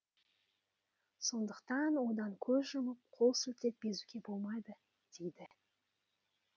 сондықтан одан көз жұмып қол сілтеп безуге болмайды дейді